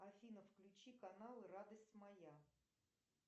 афина включи канал радость моя